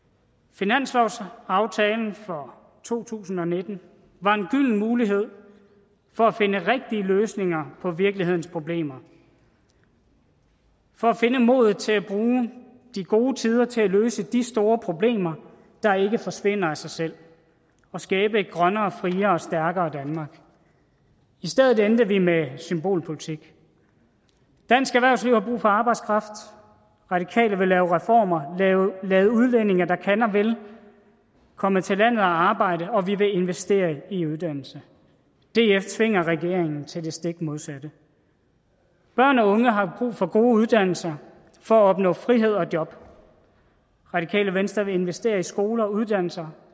finanslovsaftalen for to tusind og nitten var en gylden mulighed for at finde rigtige løsninger på virkelighedens problemer for at finde modet til at bruge de gode tider til at løse de store problemer der ikke forsvinder af sig selv og skabe et grønnere friere stærkere danmark i stedet endte vi med symbolpolitik dansk erhvervsliv har brug for arbejdskraft radikale venstre vil lave reformer lade udlændinge der kan og vil komme til landet og arbejde og vi vil investere i uddannelse df tvinger regeringen til det stik modsatte børn og unge har brug for gode uddannelser for at opnå frihed og job radikale venstre vil investere i skoler og uddannelser